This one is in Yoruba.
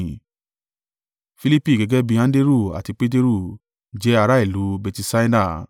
Filipi gẹ́gẹ́ bí i Anderu àti Peteru, jẹ́ ará ìlú Betisaida.